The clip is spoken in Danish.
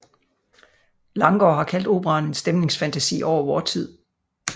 Langgaard har kaldt operaen en stemningsfantasi over vor tid